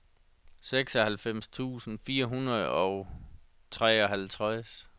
seksoghalvfems tusind fire hundrede og treoghalvtreds